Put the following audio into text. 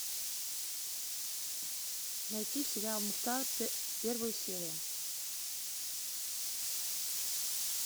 найти сериал мухтар первую серию